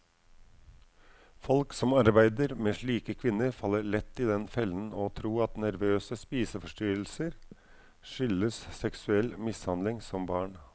Folk som arbeider med slike kvinner, faller lett i den fellen å tro at nervøse spiseforstyrrelser skyldes seksuell mishandling som barn.